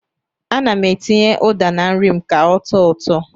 Ana m etinye ụda na nri m ka ọ tọọ ụtọ.